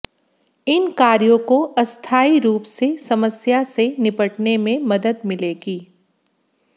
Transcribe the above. इन कार्यों को अस्थायी रूप से समस्या से निपटने में मदद मिलेगी